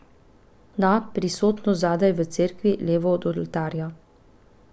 Da, prisotnost, zadaj v cerkvi, levo od oltarja.